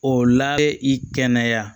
O la i kɛnɛya